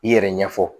I yɛrɛ ɲɛfɔ